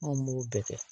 Anw b'o bɛɛ kɛ